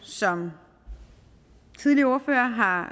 som tidligere ordførere har